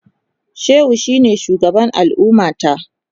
Shehu shine shugaban al'ummata.